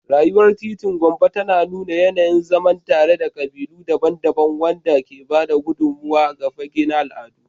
Rayuwar titin Gombe tana nuna yanayin zaman tare na kabilu daban-daban, wanda ke ba da gudummawa ga fage na al'adu.